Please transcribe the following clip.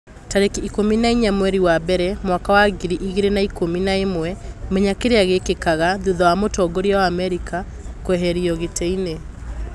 Tarĩki ikũmi na inya mweri wa mbere mwaka wa ngiri igĩrĩ na ikũmi na ĩmwe, Menya kĩrĩa gĩkĩkaga thutha wa mũtongoria wa Amerika kũeherio gĩtĩ-inĩ